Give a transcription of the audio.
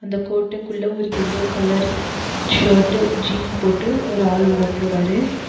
அந்த கோட்டைக்குள்ள ஒரு எல்லோ கலர் ஷர்ட் ஜீன் போட்டு ஒரு ஆள் உள்ள போறாரு.